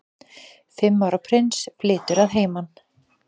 Fimm ára prins flytur að heiman